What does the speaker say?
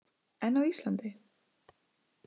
En á Íslandi?